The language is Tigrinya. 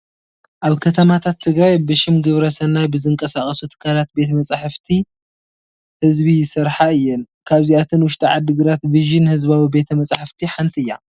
ኣብ ከተማታት ትግራይ ብሽም ግብረሰናይ ብዝንቀሳቐሱ ትካላት ቤተ መፃሕቲ ህዝቢ ይስርሓ እየን፡፡ ካብዚኣተን ውሽጢ ዓዲግራት ቪዥን ህዝባዊ ቤተ መፃሕፍቲ ሓንቲ እያ፡፡